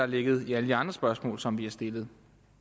ligget i alle de andre spørgsmål som vi har stillet